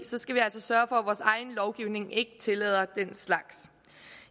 så skal vi altså sørge for at vores egen lovgivning ikke tillader den slags